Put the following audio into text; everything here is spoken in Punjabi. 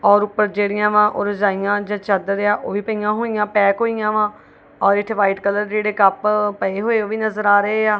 ਔਰ ਉਪਰ ਜਿਹੜੀਆਂ ਵਾ ਉਹ ਰਜਾਈਆਂ ਜਾ ਚਾਦਰ ਆ ਉਹ ਵੀ ਪਈਆਂ ਹੋਈਆਂ ਪੈਕ ਹੋਈਆਂ ਵਾ ਔਰ ਇਥੇ ਵਾਈਟ ਕਲਰ ਜਿਹੜੇ ਕੱਪ ਪਏ ਹੋਏ ਉਹ ਵੀ ਨਜ਼ਰ ਆ ਰਹੇ ਆ।